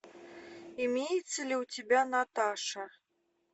имеется ли у тебя наташа